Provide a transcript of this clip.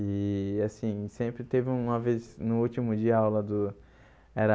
E, assim, sempre teve uma vez, no último dia, aula do... Era...